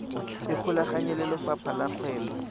ikgolaganye le lefapha la kgwebo